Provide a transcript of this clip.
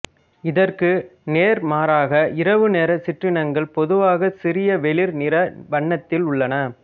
இதற்கு நேர் மாறாக இரவு நேரச் சிற்றினங்கள் பொதுவாகச் சிறிய வெளிர் நிற வண்ணத்தில் உள்ளன